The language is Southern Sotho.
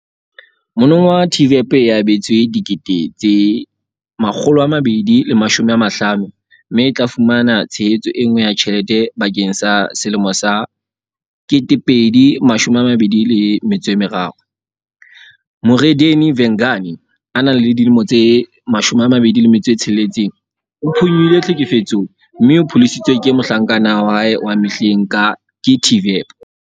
Monongwaha TVEP e abetswe R250 000 mme e tla fumana tshehetso enngwe ya tjhelete bakeng sa 2023. Murendeni Vhengani, 26, o phonyohile tlhekefetsong mme o pholositswe ho mohlankana wa hae wa mehleng ke TVEP.